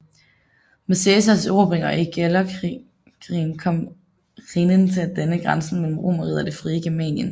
Med Cæsars erobringer i Gallerkrigen kom Rhinen til at danne grænse mellem Romerriget og det frie Germanien